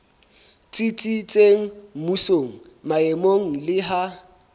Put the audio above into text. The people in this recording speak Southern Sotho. tsitsitseng mmusong maemong le ha